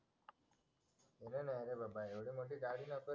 नाय नाय रे बाबा एवढ्या मध्ये गाडी नको